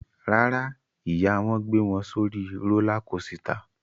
Rárá, ìyá wọn gbé wọn sórí rólá kosità.